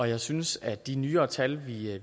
jeg synes at de nyere tal